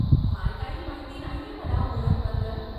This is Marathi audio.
फार काही माहिती नाहीये मला ओणमबद्दल.